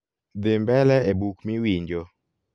dhi mbele e buk mi winjo